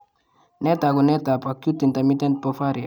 Nee taakunetaab Acute intermittent porphyria?